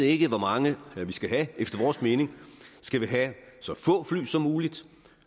ikke hvor mange vi skal have efter vores mening skal vi have så få fly som muligt